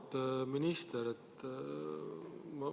Auväärt minister!